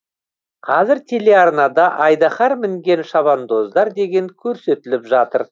қазір телеарнада айдаһар мінген шабандоздар деген көрсетіліп жатыр